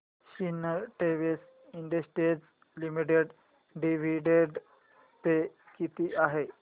Sintex industries limited dividend pay किती आहे